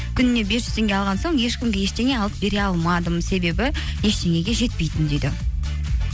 күніне бес жүз теңге алған соң ешкімге ештеңе алып бере алмадым себебі ештеңеге жетпейтін дейді